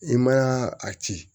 I ma a ci